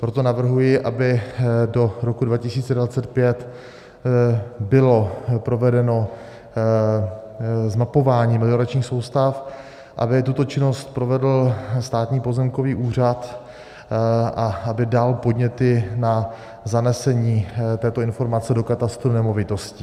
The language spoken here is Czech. Proto navrhuji, aby do roku 2025 bylo provedeno zmapování melioračních soustav, aby tuto činnost provedl Státní pozemkový úřad a aby dal podněty na zanesení této informace do katastru nemovitostí.